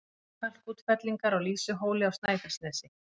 Kalkútfellingar á Lýsuhóli á Snæfellsnesi